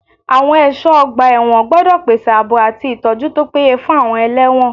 Àwọn ẹ̀ṣọ́ ọgbà ẹ̀wọ̀n gbọ́dọ̀ pèsè ààbò àti ìtọ́jú tó péye fún àwọn ẹlẹ́wọ̀n.